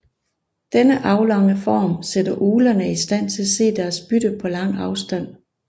Denne aflange form sætter uglerne i stand til at se deres bytte på lang afstand